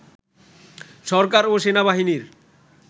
সরকার ও সেনাবাহিনীর